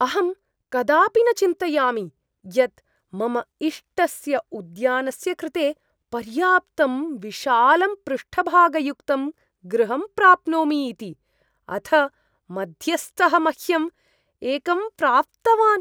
अहं कदापि न चिन्तयामि यत् मम इष्टस्य उद्यानस्य कृते पर्याप्तं विशालं पृष्ठभागयुक्तं गृहं प्राप्नोमि इति, अथ मध्यस्थः मह्यं एकं प्राप्तवान्!